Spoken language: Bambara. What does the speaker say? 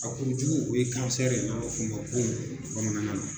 A kuru jugu o ye ye , n'an b'a f'o ma bon bamananana na.